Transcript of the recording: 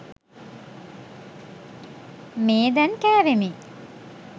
මේ දැන් කෑවෙමි.